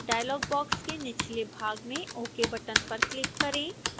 dialogue box के निचले भाग में ok बटन पर क्लिक करें